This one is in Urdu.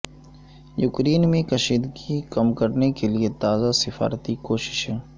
یوکرین میں کشیدگی کم کرنے کے لیے تازہ سفارتی کوششیں